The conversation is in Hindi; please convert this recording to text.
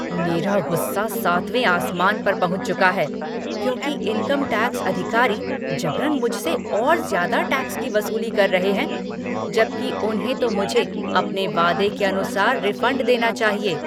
मेरा गुस्सा सातवें आसमान पर पहुँच चुका है क्योंकि इनकम टैक्स अधिकारी ज़बरन मुझसे और ज़्यादा टैक्स की वसूली कर रहे हैं, जबकि उन्हें तो मुझे अपने वादे के अनुसार रिफंड देना चाहिए।